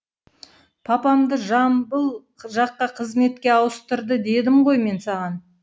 папамды жамбыл жаққа қызметке ауыстырды дедім ғой мен саған